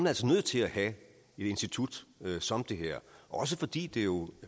altså nødt til at have et institut som det her også fordi det jo